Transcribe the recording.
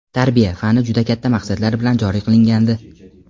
"Tarbiya" fani juda katta maqsadlar bilan joriy qilingandi.